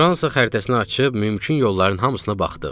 Fransa xəritəsini açıb mümkün yolların hamısına baxdıq.